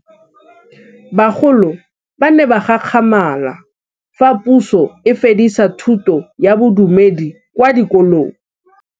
Bagolo ba ne ba gakgamala fa Pusô e fedisa thutô ya Bodumedi kwa dikolong.